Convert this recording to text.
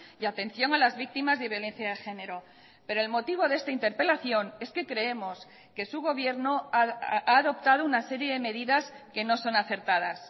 y atención a las víctimas de violencia de género pero el motivo de esta interpelación es que creemos que su gobierno ha adoptado una serie de medidas que no son acertadas